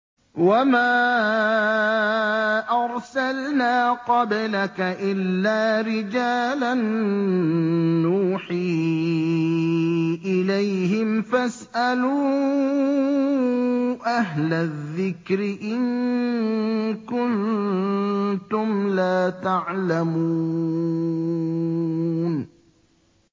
وَمَا أَرْسَلْنَا قَبْلَكَ إِلَّا رِجَالًا نُّوحِي إِلَيْهِمْ ۖ فَاسْأَلُوا أَهْلَ الذِّكْرِ إِن كُنتُمْ لَا تَعْلَمُونَ